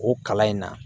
O kalan in na